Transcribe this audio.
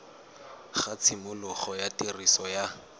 ga tshimologo ya tiriso ya